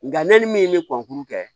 Nka ne ni min bɛ kɛ